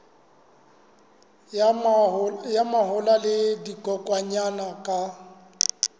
ya mahola le dikokwanyana ka